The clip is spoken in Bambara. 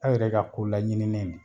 Aw yɛrɛ ka ko laɲini ne ye nin ye